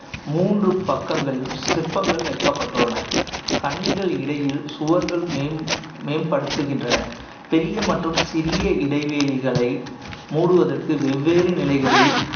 மூன்று பக்கங்களிலும் சிற்பங்கள் வைக்கப்பட்டுள்ளன கன்னிகள் இடையில் சுவர்கள் மேம்~ மேம்படுத்துகின்றன பெரிய மற்றும் சிறிய இடைவெளிகளை மூடுவதற்கு வெவ்வேறு நிலைகளில்